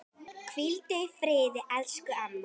Hvíldu í friði, elsku amma.